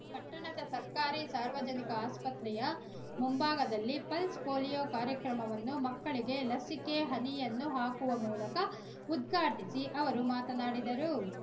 ಪಟ್ಟಣದ ಸರ್ಕಾರಿ ಸಾರ್ವಜನಿಕ ಆಸ್ಪತ್ರೆಯ ಮುಂಭಾಗದಲ್ಲಿ ಪಲ್ಸ್ ಪೋಲಿಯೋ ಕಾರ್ಯಕ್ರಮವನ್ನು ಮಕ್ಕಳಿಗೆ ಲಸಿಕೆ ಹನಿಯನ್ನು ಹಾಕುವ ಮೂಲಕ ಉದ್ಘಾಟಿಸಿ ಅವರು ಮಾತನಾಡಿದರು